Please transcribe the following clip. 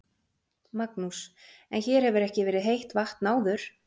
Magnús: En hér hefur ekki verið heitt vatn áður?